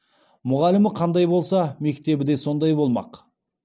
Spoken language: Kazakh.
мұғалімі қандай болса мектебі де сондай болмақ